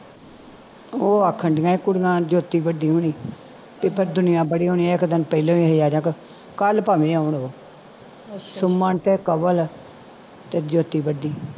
ਉਹ ਆਖਣ ਦੀਆ ਕੁੜੀਆਂ ਜੋਤੀ ਵੱਡੀ ਹੋਣੀ ਤੇ ਦੁਨੀਆਂ ਬੜੀ ਹੋਣੀ ਇਕ ਦਿਨ ਪਹਿਲਾ ਵੀ ਕੱਲ ਭਾਵੇ ਆਉਣ ਉਹ ਸੁਮਨ ਤੇ ਕੰਵਲ ਤੇ ਜੋਤੀ ਵਡੀ